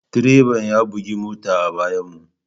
Direban ya bugi mota a bayanmu.